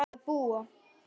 að búa.